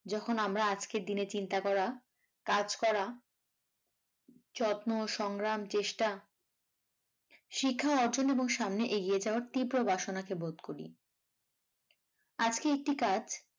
যখন আমরা আজকের দিনে চিন্তা করা, কাজ করা যত্ন সংগ্রাম চেষ্টা শিক্ষা অর্জন এবং সামনে এগিয়ে যাওয়ার তীব্র বাসনাকে বোধ করি আজকে একটি কাজ।